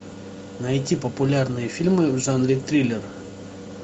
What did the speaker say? найти популярные фильмы в жанре триллер